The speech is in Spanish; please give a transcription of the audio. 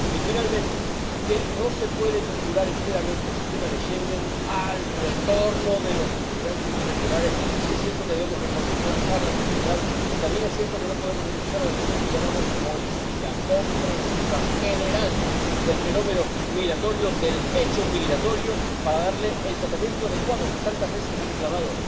Y, finalmente, que no se puede vincular enteramente el sistema de Schengen al retorno de los inmigrantes irregulares, porque, si es cierto que debemos reforzar la seguridad, también es cierto que no podemos renunciar a la visión que llamamos holística, comprensiva, general del fenómeno migratorio, del hecho migratorio, para darle el tratamiento adecuado que tantas veces ha reclamado